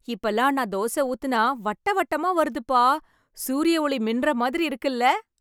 இப்ப எல்லாம் நான் தோசை ஊற்றினால் வட்ட வட்டமாக வருதுப்பா சூரியன் ஓளி மின்னற மாதிரி இருக்குல‌